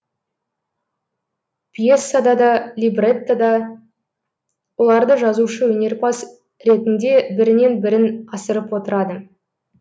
пьесада да либретто да оларды жазушы өнерпаз ретінде бірінен бірін асырып отырады